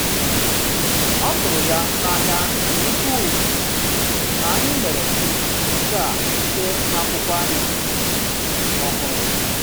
Ọ tụrụ ya n’anya nke ukwuu na anyị mere nke a site n’akwụkwọ anyị ọhụrụ.